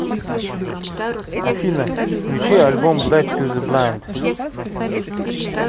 афина включи альбом блэк ту зе блайнд